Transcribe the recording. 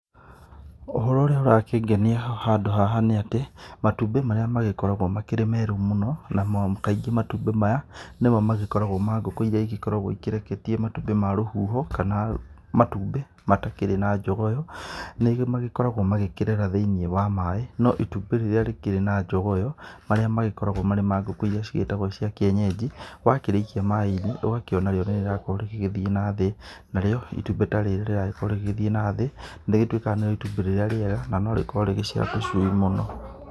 Ũhoro ũrĩa ũrakĩngenia handũ haha nĩ atĩ, matumbĩ marĩa magĩkoragwo makĩrĩ merũ mũno, namo kaingĩ matumbĩ maya nĩmo magĩkoragwo ma ngũkũ iria igĩkoragwo ikĩreketie matumbĩ ma rũhuho, kana matumbĩ matakĩrĩ na jogoo. Nĩmagĩkoragwo makĩreera thĩ-inĩ wa maaĩ, no itumbĩ rĩrĩa rĩkĩrĩ na jogoo ĩyo, marĩa magĩkoragwo marĩ ma ngũkũ iria cigĩtagwo cia kĩenyeji, wakĩrĩikia maĩ-inĩ, ũgakĩona rĩo nĩ rĩrakorwo rĩgĩgĩthiĩ na thĩ. Narĩo itumbĩ ta rĩrĩ rĩragĩkorwo rĩgĩgĩthiĩ na thĩ, rĩgĩtwĩkaga nĩrĩo itumbĩ rĩrĩa rĩega na rĩkorwo rĩgĩciara tũcui mũno.